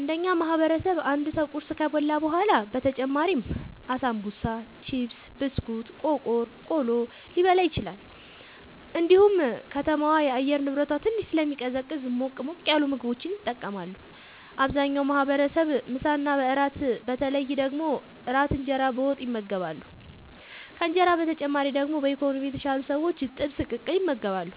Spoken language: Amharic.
እንደ እኛ ማህበረሰብ አንድ ሰው ቁርስ ከበላ በኋላ በተጨማሪም አሳንቡሳ ቺፕስ ብስኩት ቆቀር ቆሎ ሊበላ ይችላል እንዲሁም ከተማዋ የአየር ንብረቷ ትንሽ ስለሚቀዘቅዝ ሞቅ ሞቅ ያሉ ምግቦችን ይጠቀማሉ አብዛኛው ማህበረሰብ ምሳ እና እራት በተለይ ደግሞ እራት እንጀራ በወጥ ይመገባሉ ከእንጀራ በተጨማሪ ደግሞ በኢኮኖሚ የተሻሉ ሰዎች ጥብስ ቅቅል ይመገባሉ